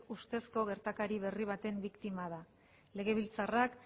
ustezkoz gertakari berri baten biktima da legebiltzarrak